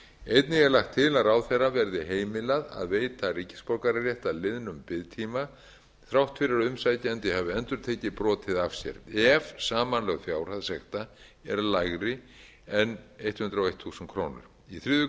einnig er lagt til að ráðherra verði heimilað að veita ríkisborgararétt að liðnum biðtíma þrátt fyrir að umsækjandi hafi endurtekið brotið af sér ef samanlögð fjárhæð sekta er lægri en hundrað og eitt þúsund krónur í þriðju